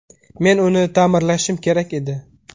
Men uni ta’mirlashim kerak edi.